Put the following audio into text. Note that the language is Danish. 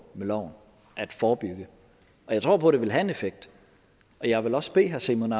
med loven at forebygge og jeg tror på at det vil have en effekt jeg vil også bede herre simon